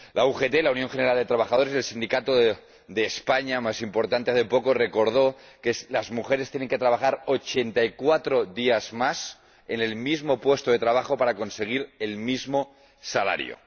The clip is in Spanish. La UGT, la Unión General de Trabajadores, el sindicato de España más importante, hace poco recordó que las mujeres tienen que trabajar ochenta y cuatro días más en el mismo puesto de trabajo para conseguir el mismo salario.